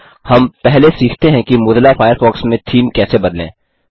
हम पहले सीखते हैं कि मोज़िला फ़ायरफ़ॉक्स में थीम कैसे बदलें